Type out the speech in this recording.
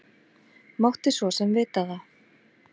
Mátti svo sem vita það.